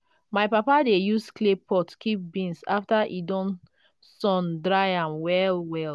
my papa dey use clay pot keep beans after e don sun-dry am well well.